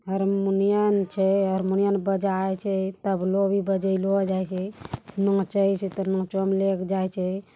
हारमोनियम छे हारमोनियम बजाई छे इ तबलों बजाइलो जाये छे --